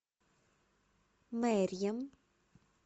мерьем